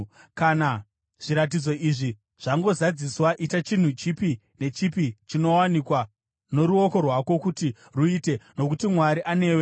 Kana zviratidzo izvi zvangozadziswa, ita chinhu chipi nechipi chinowanikwa noruoko rwako kuti ruite, nokuti Mwari anewe.